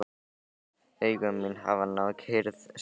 Augu mín hafa náð kyrrð sinni.